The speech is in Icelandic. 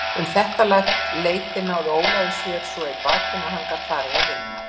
Um þetta leyti náði Ólafur sér svo í bakinu að hann gat farið að vinna.